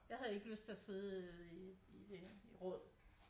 Jeg havde ikke lyst til at sidde i øh i råd